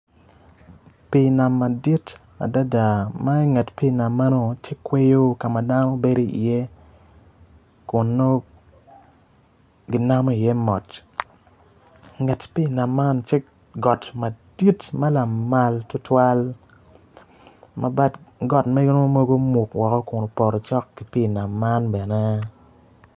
Pii nam madit adada ma inget pii nam meno tye kweyo ka ma dano bedo iye kun nongo ginamo iye mot inget pii nam man tye got madit ma lamal tutwal ma bat got meno mogo omuk woko kun opoto cok ki pii nam man bene.